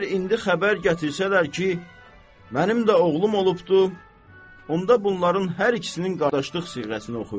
Əgər indi xəbər gətirsələr ki, mənim də oğlum olubdu, onda bunların hər ikisinin qardaşlıq siğrəsini oxuyuruq.